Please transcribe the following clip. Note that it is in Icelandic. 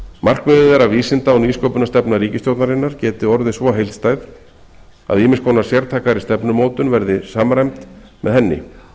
markmiðið er að vísinda og nýsköpunarstefna ríkisstjórnarinnar geti orðið svo heildstæð að ýmiss konar sértækari stefnumótun verði samræmd með henni